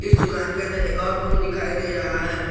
इस दुकान के अंदर एक और रूम दिखाई दे रहा है।